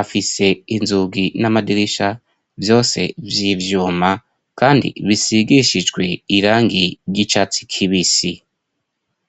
afise inzugi n'amadirisha vyose vyivyuma kandi bisigishijwe irangi ry'icatsi kibisi.